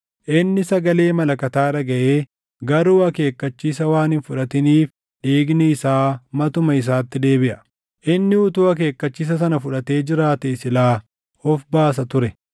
Inni sagalee malakataa dhagaʼee garuu akeekkachiisa waan hin fudhatiniif dhiigni isaa matuma isaatti deebiʼa. Inni utuu akeekkachiisa sana fudhatee jiraatee silaa of baasa ture.